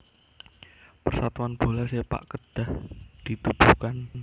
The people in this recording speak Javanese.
Persatuan Bola Sepak Kedah ditubuhkan